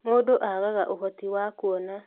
Mũndũ aaga ũhoti wa kuona